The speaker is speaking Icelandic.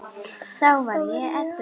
Þá var ég edrú.